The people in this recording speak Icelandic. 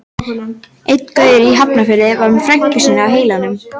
Einn gaurinn í Hafnarfirði var með frænku sína á heilanum.